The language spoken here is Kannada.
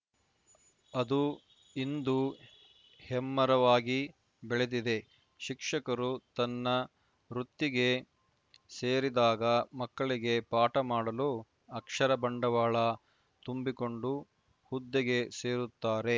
ಅದು ಇಂದು ಹೆಮ್ಮರವಾಗಿ ಬೆಳೆದಿದೆ ಶಿಕ್ಷಕರು ತನ್ನ ವೃತ್ತಿಗೆ ಸೇರಿದಾಗ ಮಕ್ಕಳಿಗೆ ಪಾಠ ಮಾಡಲು ಅಕ್ಷರ ಬಂಡವಾಳ ತುಂಬಿಕೊಂಡು ಹುದ್ದೆಗೆ ಸೇರುತ್ತಾರೆ